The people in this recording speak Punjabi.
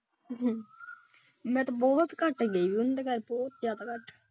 ਮੈਂ ਤੇ ਬਹੁਤ ਘਟ ਗਈ ਹੋਈ ਹਾਂ ਉ ਸਾਡੇ ਘਰ ਤੋਂ ਦੋ ਕਿਲੋ ਮੀਟਰ ਰਹਿ ਜਾਂਦਾ ਹੈਹਦੇ ਘਰ ਬਹੁਤ ਜ਼ਿਆਦਾ ਘੱਟ।